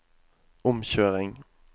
omkjøring